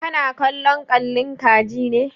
Kana kallon kalli ka ji ne?